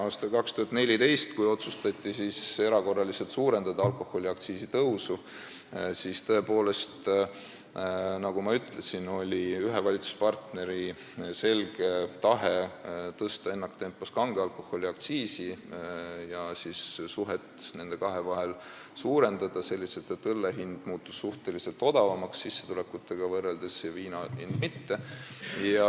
Aastal 2014, kui otsustati erakorraliselt suurendada alkoholiaktsiisi tõusu, siis tõepoolest, nagu ma ütlesin, oli ühe valitsuspartneri selge tahe tõsta ennaktempos kange alkoholi aktsiisi ja nende kahe vahet suurendada, tehes seda selliselt, et õlle hind muutus suhteliselt odavamaks sissetulekutega võrreldes ja viina hind mitte.